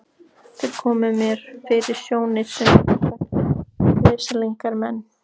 Þeir komu mér fyrir sjónir sem einstaklega velsældarlegir menn.